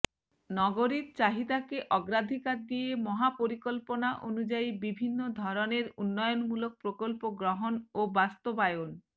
নগরীর চাহিদাকে অগ্রাধিকার দিয়ে মহাপরিকল্পনা অনুযায়ী বিভিন্ন ধরনের উন্নয়নমূলক প্রকল্প গ্রহণ ও বাস্তবায়ন